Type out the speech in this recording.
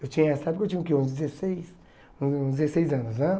Eu tinha essa época, eu tinha o quê uns dezesseis, uns dezesseis anos, né?